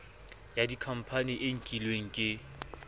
ya dikhampani e nkilweng ke